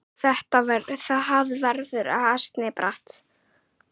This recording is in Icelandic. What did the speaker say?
Það verður ansi bratt.